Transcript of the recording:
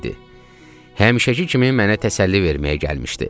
Həmişəki kimi mənə təsəlli verməyə gəlmişdi.